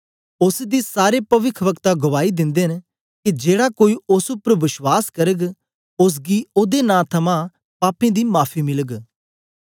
ओसदी सारे पविखवक्ता गवाई दिंदे न के जेड़ा कोई ओस उपर बश्वास करग ओसगी ओदे नां थमां पापें दी माफी मिलग